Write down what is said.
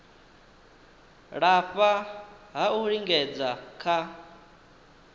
lafha ha u lingedza kha